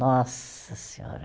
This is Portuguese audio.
Nossa Senhora!